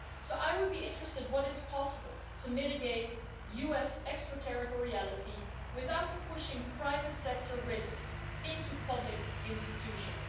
I would be interested in what is possible to mitigate US extra territoriality without pushing private sector risks into public institutions.